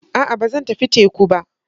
A'a! Ba zan tafi teku ba.